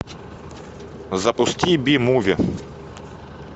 запусти би муви